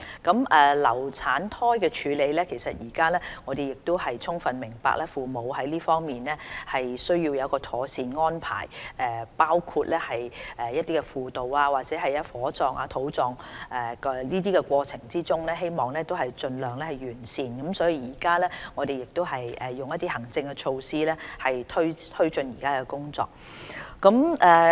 至於流產胎的處理，我們充分明白父母在這方面需要妥善的安排，包括輔導，以至在火葬或土葬的過程中希望盡量做到完善，就此，我們實施多項行政措施推進目前工作。